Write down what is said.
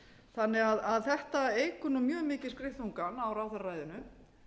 þannig að þetta eykur nú mjög mikið skriðþungann á ráðherraræðinu